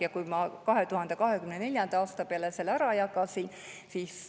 Ma jagasin selle 2024. aasta peale ära.